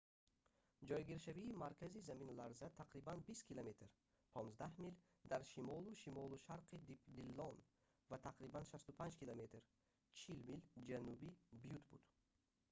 ҷойгиршавии маркази заминларза тақрибан 20 км 15 мил дар шимолу-шимолушарқии диллон ва тақрибан 65 км 40 мил ҷануби бютт буд